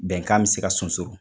Bɛnkan bɛ se ka sunsoro.